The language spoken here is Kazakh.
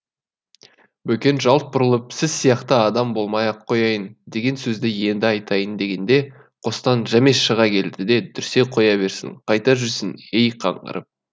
бөкен жалт бұрылып сіз сияқты адам болмай ақ қояйын деген сөзді енді айтайын дегенде қостан жәмеш шыға келді де дүрсе қоя берсін қайда жүрсің ей қаңғырып